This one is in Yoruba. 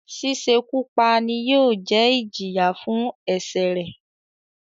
“ sísekú pa" ni yóò jẹ́ ẹ́ ìjìyà fún ẹ̀sẹ̀rẹ̀.